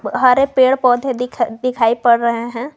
हरे पेड़ पौधे दिखा दिखाई पड़ रहे हैं।